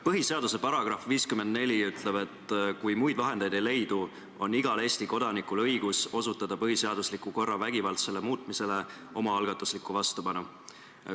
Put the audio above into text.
Põhiseaduse § 54 ütleb, et kui muid vahendeid ei leidu, on igal Eesti kodanikul õigus osutada põhiseadusliku korra vägivaldsele muutmisele omaalgatuslikku vastupanu.